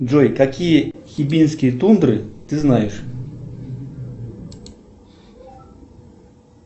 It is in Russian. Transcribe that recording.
джой какие хибинские тундры ты знаешь